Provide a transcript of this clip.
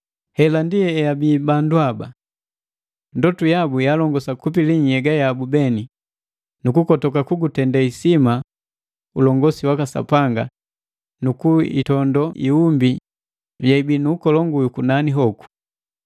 Hela ndi eabii bandu haba. Ndotu yabu ya alongosa kupili nhyega yabu beni, nukukotoka kugutende isima ulongosi waka Sapanga nu kuiitondo iumbi ye ibii nu ukolongu yu kunani hoku.